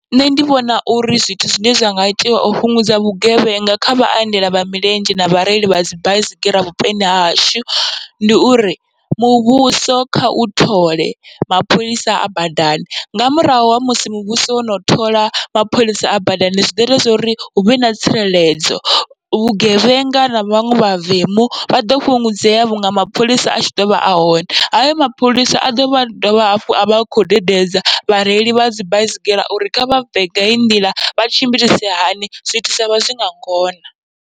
Nṋe ndi vhona uri zwithu zwine zwa nga itiwa u fhungudza vhugevhenga kha vhaendela vha milenzhe na vhareili vhadzi baisigira vhuponi hashu, ndi uri muvhuso kha u thole mapholisa a badani. Nga murahu ha musi muvhuso wono thola mapholisa a badani, zwiḓo ita zwori huvhe na tsireledzo vhugevhenga na vhaṅwe mavemu vha ḓo fhungudzea vhunga mapholisa atshi ḓovha ahone, hayo mapholisa a ḓovha dovha hafhu avha akho dededza vhareili vhadzi baisigira uri kha vha bve nga heyi nḓila vha tshimbilise hani zwithu zwavha zwinga ngona.